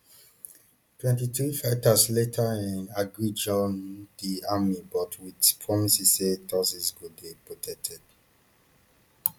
twenty-three fighters later um agreed join um di army but wit promises say tutsis go dey protected